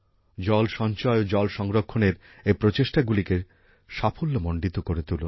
জল সঞ্চয় ও জলসংরক্ষণের এই প্রচেষ্টাগুলিকে সাফল্যমন্ডিত করে তুলুন